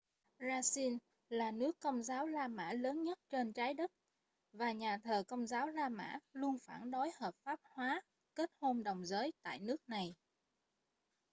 brazil là nước công giáo la mã lớn nhất trên trái đất và nhà thờ công giáo la mã luôn phản đối hợp pháp hóa kết hôn đồng giới tại nước này